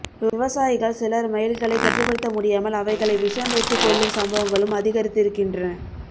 விவசாயிகள் சிலர் மயில்களை கட்டுப்படுத்த முடியாமல் அவைகளை விஷம் வைத்து கொல்லும் சம்பவங்களும் அதிகரித்திருக்கின்றன